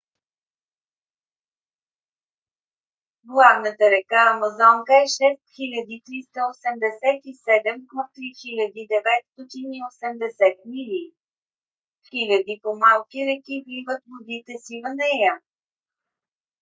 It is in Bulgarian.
главната река амазонка е 6387 км 3980 мили. хиляди по-малки реки вливат водите си в нея